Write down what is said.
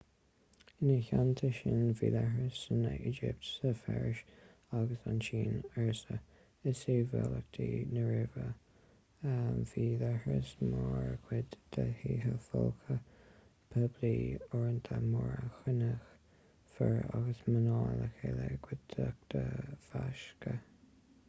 ina theanta sin bhí leithris san éigipt sa pheirs agus sa tsín ársa i sibhialtacht na róimhe bhí leithris mar chuid de thithe folctha poiblí uaireanta mar a chruinníodh fir agus mná le chéile i gcuideachta mheasctha